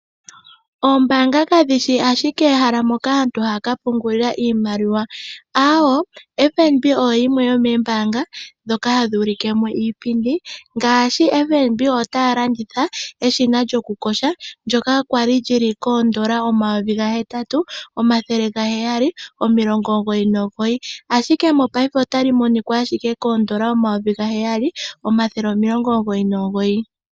Oombaanga kadhi shi ashike ehala moka aantu haya ka pungulila iimaliwa, aawoo! FNB oyo yimwe yoombaanga ndhoka hadhi ulike iipindi, ngaashi FNB ota landitha eshina lyo kuyoga ndyoka kwali li na oondola N$8799.00 ashike paife otali adhika ashike koondola N$7999.00.